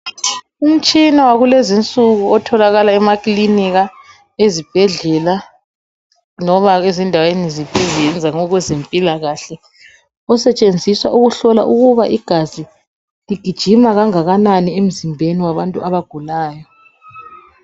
Umtshina wakulezi insuku otholakala emaklinika ezibhedlela loba ezindaweni ezenza okwezempilakahle osetshenziswa ukuhlola ukuba igazi ligijima kangakanani emzimbeni wabantu abagulayo.